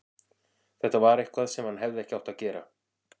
Þetta var eitthvað sem hann hefði ekki átt að gera.